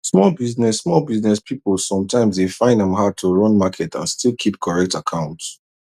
small business small business people sometimes dey find am hard to run market and still keep correct account